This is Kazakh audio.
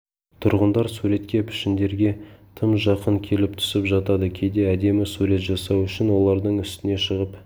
тұрғындар суретке пішіндерге тым жақын келіп түсіп жатады кейде әдемі сурет жасау үшін олардың үстіне шығып